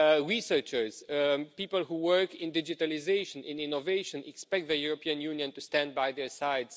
Researchers, people who work in digitalisation and innovation expect the European Union to stand by their side.